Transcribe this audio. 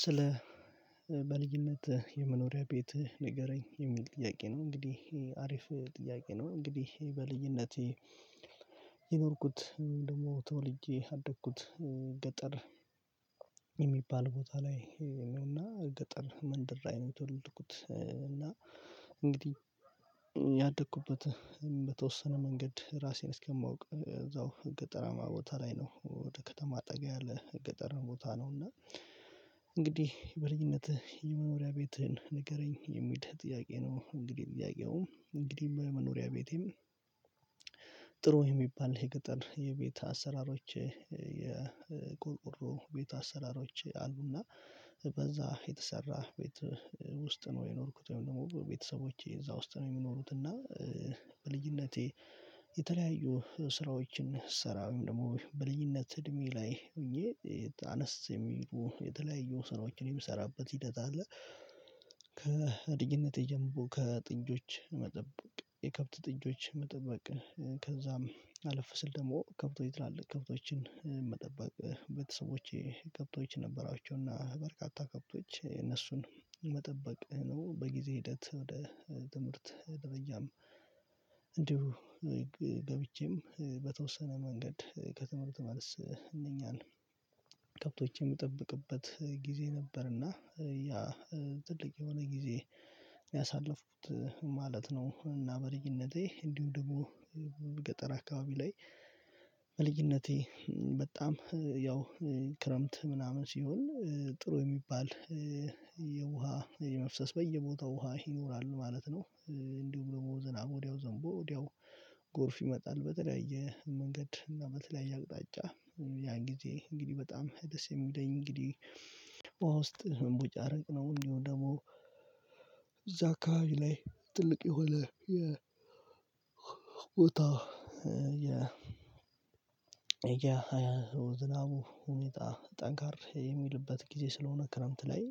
ስለ በልዩነት የመኖሪያ ቤት ንገረኝ የሚል ጥያቄ ነው? እንግዲህ ይሄ አሪፍ ጥያቄ ነው። እንግዲህ ይሄ በልዩነቴ የኖርኩት ደግሞ ተወልጄ አደግኩት ገጠር የሚባል ቦታ ላይ ነውና ገጠር መንደር የተወለድኩት እና እንግዲህ ያደኩበት በተወሰነ መንገድ ራሴን እስከማውቅ እዛው ገጠራማ ቦታ ላይ ነው ወደ ከተማ ጠጋ ያለ ገጠር ቦታ ነው። እና እንግዲህ በልኝነትህ የመኖሪያ ቤትህን ንገረኝ የሚል ጥያቄ ነው? እንግዲህ ጥያቄውም እንግዲህ በመኖሪያ ቤቴም ጥሩ የሚባል የገጠር የቤት አሰራሮች የቁርቁሮ ቤት አሰራሮች አሉና በዛ የተሰራ ቤት ውስጥ ነው የኖርኩት ወይም ደግሞ ቤተሰቦቼ እዛ ውስጥ ነው የሚኖሩት እና በልጅነቴ የተለያዩ ስራዎችን ስሰራ ወይም ደግሞ በልጅነት እድሜ ላይ ሆኜ አነስ የሚሉ የተለያዩ ስራዎችን የምሰራበት ሂደት አለ። ከልጅነቴ ጀምሮ ከጥጆች መጠበቅ የከብት ጥጆች መጠበቅ ከዛም አለፍ ስል ደግሞ ከብቶች ትላልቅ ከብቶችን መጠበቅ ቤተሰቦቼ ከብቶች ነበራቸውና በርካታ ከብቶች እነሱን መጠበቅ ነው በጊዜ ሂደት ወደ ትምህርት ገበያም እንዲሁ ገብቼም መንገድ ከትምህርት ማለት እነኛን ከብቶቼም የምጠብቅበት ጊዜ ነበርና ያ ትልቅ የሆነ ጊዜ ያሳለፍኩት ማለት ነው። እና በልጅነቴ እንዲሁ ደግሞ ገጠር አካባቢ ላይ በልጅነቴ በጣም ያው ክረምት ምናምን ሲሆን ጥሩ የሚባል የውሃ የመፍሰስ በየቦታው ውሃ ይኖራል ማለት ነው። እንዲሁም ደግሞ ዝና ወዲያው ዘንቦ ወዲያው ጎርፍ ይመጣል በተለያየ መንገድ እና በተለያየ አቅጣጫ ያን ጊዜ እንግዲህ በጣም ደስ የሚለኝ እንግዲህ በውሃ ውስጥ መቦጫረቅ ነው። እንዲሁ ደግሞ እዛ አካባቢ ላይ ጥልቅ የሆነ የቦታው ወጣው የዝናቡ ሁኔታ ጠንካራ የሚልበት ጊዜ ስለሆነ ክረምት ላይ